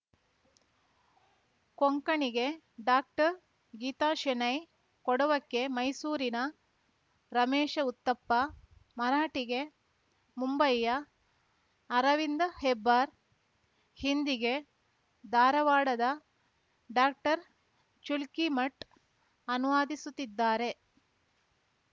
ಕೊಂಕಣಿಗೆ ಡಾಕ್ಟರ್ಗೀತಾ ಶೆಣೈ ಕೊಡವಕ್ಕೆ ಮೈಸೂರಿನ ರಮೇಶ ಉತ್ತಪ್ಪ ಮರಾಠಿಗೆ ಮುಂಬೈಯ ಅರವಿಂದ ಹೆಬ್ಬಾರ್‌ ಹಿಂದಿಗೆ ಧಾರವಾಡದ ಡಾಕ್ಟರ್ಚುಲ್ಕೀಮಠ್‌ ಅನುವಾದಿಸುತ್ತಿದ್ದಾರೆ